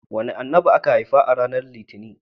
Wane Annabi aka haifa ranar litinin?